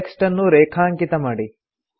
text ಅನ್ನು ರೇಖಾಂಕಿತ ಮಾಡಿ